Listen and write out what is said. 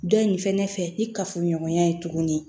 Dɔ in fɛnɛ fɛ ni kafoɲɔgɔnya ye tuguni